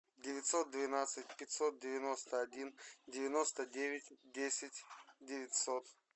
девятьсот двенадцать пятьсот девяносто один девяносто девять десять девятьсот